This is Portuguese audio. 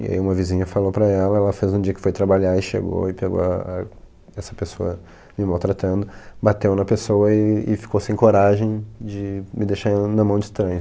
E aí uma vizinha falou pra ela, ela fez um dia que foi trabalhar e chegou e pegou a a essa pessoa me maltratando, bateu na pessoa e e ficou sem coragem de me deixar na mão de estranhos.